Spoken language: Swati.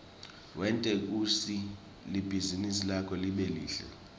wente kutsi libhizinisi lakho libe lihle